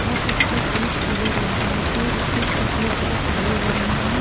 और उसका चोंच पीले रंग का है कई बतख सफ़ेद व काले रंग में हैं।